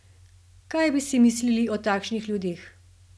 Kaj bi si mislili o takšnih ljudeh?